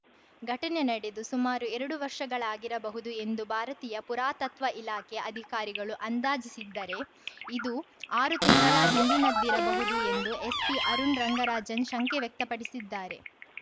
ಘಟನೆ ನಡೆದು ಸುಮಾರು ಎರಡು ವರ್ಷಗಳಾಗಿರಬಹುದು ಎಂದು ಭಾರತೀಯ ಪುರಾತತ್ವ ಇಲಾಖೆ ಅಧಿಕಾರಿಗಳು ಅಂದಾಜಿಸಿದ್ದರೆ ಇದು ಆರು ತಿಂಗಳ ಹಿಂದಿನದ್ದಿರಬಹುದು ಎಂದು ಎಸ್ಪಿ ಅರುಣ್‌ ರಂಗರಾಜನ್‌ ಶಂಕೆ ವ್ಯಕ್ತಪಡಿಸಿದ್ದಾರೆ